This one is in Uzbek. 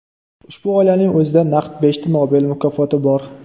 Ushbu oilaning o‘zida naq beshta Nobel mukofoti bor!